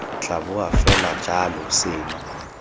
tla boa fela jalo seno